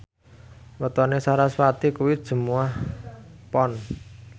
wetone sarasvati kuwi Jumuwah Pon